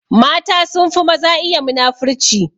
Mata sunfi maza iya muna-furci.